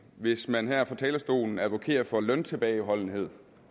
hvis man her fra talerstolen advokerede for løntilbageholdenhed